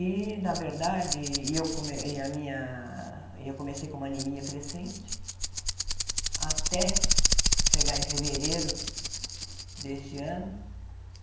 E, na verdade, e eu e a minha e eu comecei com uma anemia crescente até chegar em fevereiro desse ano.